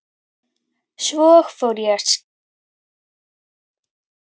Svo fór ég að skrifa og sofnaði.